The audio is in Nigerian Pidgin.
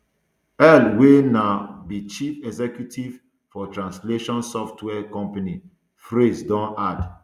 ell wia now be chief executive for translation software company phrase don add